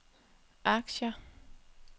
aktier